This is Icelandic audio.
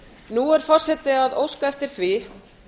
nú er forseti að óska eftir því